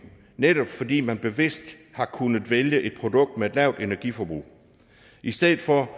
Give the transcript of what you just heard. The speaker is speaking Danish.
netop fordi man bevidst har kunnet vælge et produkt med et lavt energiforbrug i stedet for